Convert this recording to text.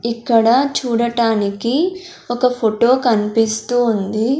ఇక్కడ చూడటానికి ఒక ఫొటో కన్పిస్తూ ఉంది.